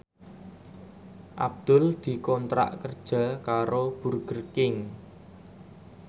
Abdul dikontrak kerja karo Burger King